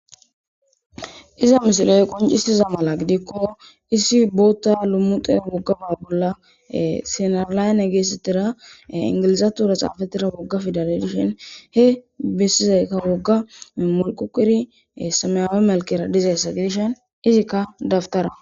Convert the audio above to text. iza misiley qoncisiza mala gidikko issi bootta lummute woggaba bolla sinarlayne geessatira ingilizatura xaafatira wogga fidale dishen he bissizaykka wogga mulqukiri sameyawe malkera dizayssa gidishen izikka dabtara